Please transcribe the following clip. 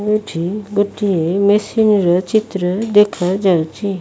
ଏଇଠି ଗୋଟିଏ ମେସିନ ର ଚିତ୍ର ଦେଖାଯାଉଚି।